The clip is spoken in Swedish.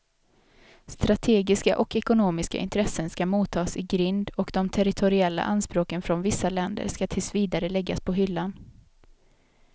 Strategiska och ekonomiska intressen skall motas i grind och de territoriella anspråken från vissa länder skall tills vidare läggas på hyllan.